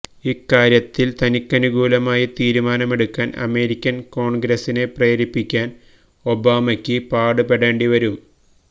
ഇക്കാര്യത്തിൽ തനിക്കനുകൂലമായി തീരുമാനമെടുക്കാൻ അമേരിക്കൻ കോൺഗ്രസിനെ പ്രേരിപ്പിക്കാൻ ഒബാമക്ക് പാട് പെടേണ്ടി വരും